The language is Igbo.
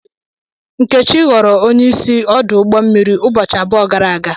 Nkechi ghọrọ onye isi ọdụ ụgbọ mmiri ụbọchị abụọ gara aga.